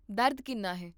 ਦਰਦ ਕਿੰਨਾ ਹੈ?